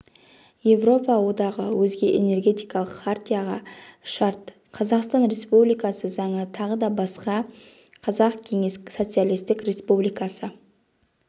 европа одағы өзге энергетикалық хартияға шарт қазақстан республикасы заңы тағы басқа қазақ кеңес социалистік республикасы